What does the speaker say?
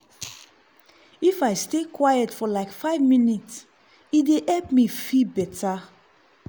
if i stay quiet for like five minute e dey help me feel better.